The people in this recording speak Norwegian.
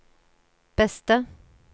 beste